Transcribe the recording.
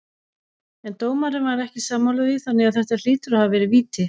En dómarinn var ekki sammála því þannig þetta hlýtur að hafa verið víti.